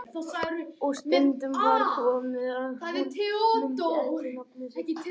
Og stundum var svo komið að hún mundi ekki nafnið sitt.